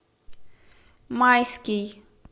майский